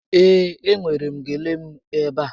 Ee, e nwèrè m gele m ebe a